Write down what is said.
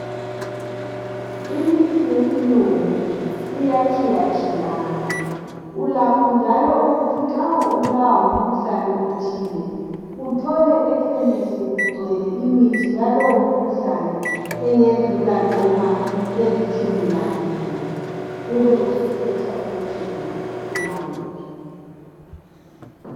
Imithi yesilungu iyatshiyatshiyana. Ulakho njalo ukuthi nxa ubulawa ngumkhuhlane othile, uthole ekhemisi kugcwele imithi yalowo mkhuhlane engadlula noma eliitshumi lambili, ube usukhetha ukuthi wena ufuna wuphi.